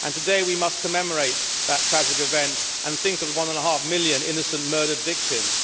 Today we must commemorate that tragic event and think of the one and a half million innocent murdered victims.